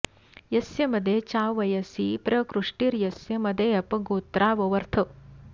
यस्य मदे च्यावयसि प्र कृष्टीर्यस्य मदे अप गोत्रा ववर्थ